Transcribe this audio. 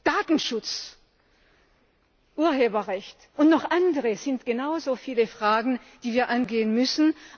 Datenschutz, Urheberrecht und noch andere sind genauso viele Fragen, die wir angehen müssen.